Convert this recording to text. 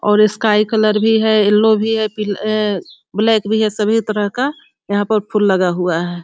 और sky colour भी है येलो भी है पि अ ब्लैक भी है सभी तरह का यहाँ पर फूल लगा हुआ है |